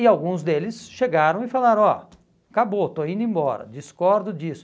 E alguns deles chegaram e falaram, ó, acabou, estou indo embora, discordo disso.